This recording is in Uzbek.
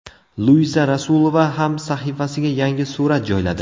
Luiza Rasulova ham sahifasiga yangi surat joyladi.